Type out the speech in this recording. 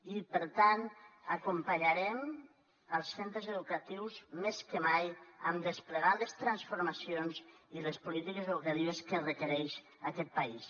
i per tant acompanyarem els centres educatius més que mai en desplegar les transformacions i les polítiques educatives que requereix aquest país